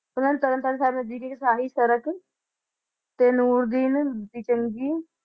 ਉਨਾ ਨੇ ਤਰਨਤਾਰਨ ਸਾਹਿਬ ਜੀਜੀਕੇ ਸਾਹਿਤ ਸੜਕ ਤੇ ਨੂਰ ਦੀਨ ਦੀ ਚੰਗੀ